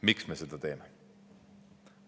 Miks me seda teeme?